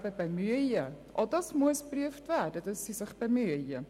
Auch hier muss geprüft werden, dass sie sich bemühen.